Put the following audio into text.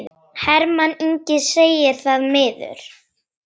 Hermann Ingi segir það miður.